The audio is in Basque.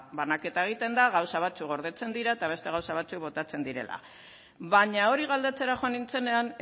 banaketa egiten da gauza batzuk gordetzen dira eta beste gauza batzuk botatzen direla baina hori galdetzera joan nintzenean